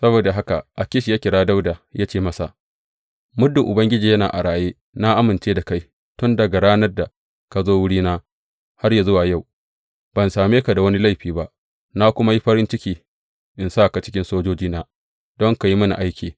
Saboda haka Akish ya kira Dawuda ya ce masa, Muddin Ubangiji yana a raye, na amince da kai tun daga ranar da ka zo wurina har yă zuwa yau, ban same ka da wani laifi ba, na kuma yi farin ciki in sa ka a cikin sojojina don ka yi mini aiki.